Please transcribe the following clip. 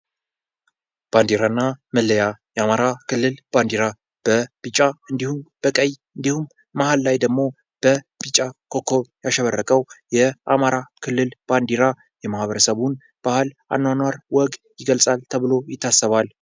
ባንድራና መለያ የአማራ ክልል ባንዲራ በቢጫ እንድሁም በቀይ እንድሁም መሀል ላይ ደግሞ በቢጫ ኮከብ ያሸበረቀው የአማራ ክልል ባንዲራ የማህበረሰቡ ባህል አኗኗር ወግ ይገልጻል ተብሎ ይታሰባል።